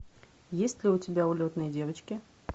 есть ли у тебя улетные девочки